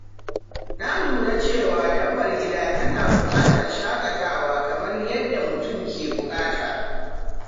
Na lura cewa dabbar gida tana buƙatar shaƙatawa kamar yadda mutum ke buƙata.